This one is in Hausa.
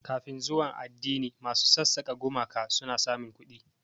Kafin zuwan addini, masu sassaka gumaka sun samu kuɗi.